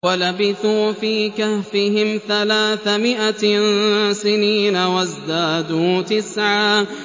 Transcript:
وَلَبِثُوا فِي كَهْفِهِمْ ثَلَاثَ مِائَةٍ سِنِينَ وَازْدَادُوا تِسْعًا